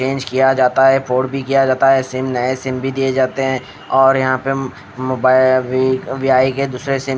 change किया जाता है फोड भी किया जाता है सिम नए सिम भी दिए जाते हैं और यहाँ पे mobile V V I I के दूसरे सिम --